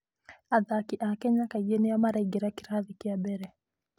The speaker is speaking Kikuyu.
Athaki a Kenya kaingĩ nĩo maraingĩra kĩrathi kĩa mbere.